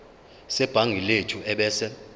sebhangi lethu ebese